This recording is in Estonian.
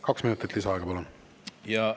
Kaks minutit lisaaega, palun!